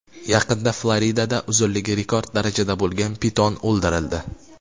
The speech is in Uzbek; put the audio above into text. Yaqinda Floridada uzunligi rekord darajada bo‘lgan piton o‘ldirildi.